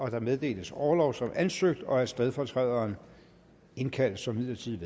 at der meddeles orlov som ansøgt og at stedfortræderen indkaldes som midlertidigt